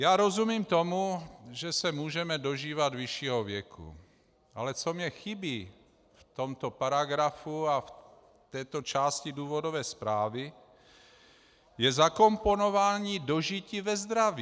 Já rozumím tomu, že se můžeme dožívat vyššího věku, ale co mi chybí v tomto paragrafu a v této části důvodové zprávy, je zakomponování dožití ve zdraví.